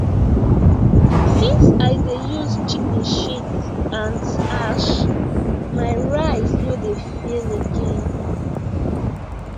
since i dey use chicken shit and ash my rice no dey fail again